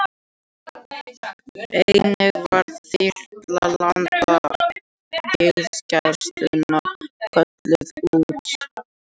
Einnig var þyrla Landhelgisgæslunnar kölluð út